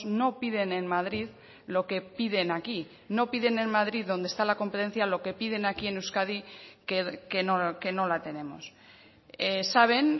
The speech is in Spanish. no piden en madrid lo que piden aquí no piden en madrid donde está la competencia lo que piden aquí en euskadi que no la tenemos saben